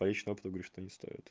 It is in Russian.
по личному опыту говорю что не стоит